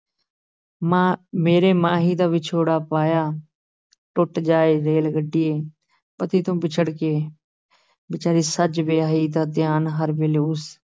ਮਾਂ ਮੇਰੇ ਮਾਹੀ ਦਾ ਵਿਛੋੜਾ ਪਾਇਆ, ਟੁੱਟ ਜਾਏ ਰੇਲ ਗੱਡੀਏ, ਪਤੀ ਤੋਂ ਵਿਛੜ ਕੇ ਵਿਚਾਰੀ ਸਜ-ਵਿਆਹੀ ਦਾ ਧਿਆਨ ਹਰ ਵੇਲੇ ਉਸ